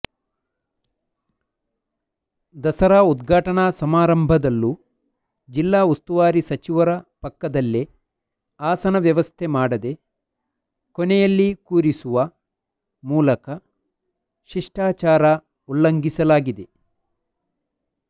ದಸರಾ ಉದ್ಘಾಟನಾ ಸಮಾರಂಭದಲ್ಲೂ ಜಿಲ್ಲಾ ಉಸ್ತುವಾರಿ ಸಚಿವರ ಪಕ್ಕದಲ್ಲೇ ಆಸನ ವ್ಯವಸ್ಥೆ ಮಾಡದೆ ಕೊನೆಯಲ್ಲಿ ಕೂರಿಸುವ ಮೂಲಕ ಶಿಷ್ಟಾಚಾರ ಉಲ್ಲಂಘಿಸಲಾಗಿದೆ